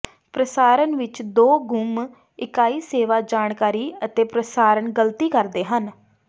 ਪ੍ਰਸਾਰਣ ਵਿਚ ਦੋ ਗੁੰਮ ਇਕਾਈ ਸੇਵਾ ਜਾਣਕਾਰੀ ਅਤੇ ਪ੍ਰਸਾਰਣ ਗਲਤੀ ਕਰਦੇ ਹਨ